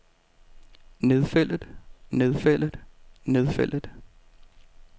nedfældet nedfældet nedfældet